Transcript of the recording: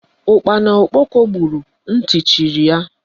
Ụkpana okpoko gburu ntị chiri ya.